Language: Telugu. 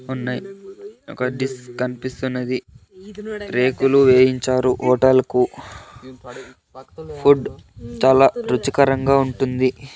ఉన్నాయి ఒక డిస్ కనిపిస్తున్నది రేకులు వేయించారు హోటల్ కు ఫుడ్ చాలా రుచికరంగా ఉంటుంది.